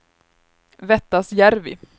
Vettasjärvi